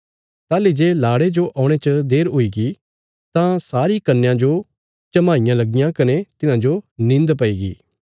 ताहली जे लाड़े जो औणे च देर हुईगी तां सारी कन्यां जो झमाईयां लगियां कने तिन्हांजो निंद पैईगी